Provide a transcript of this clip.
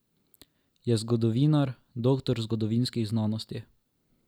Je zgodovinar, doktor zgodovinskih znanosti.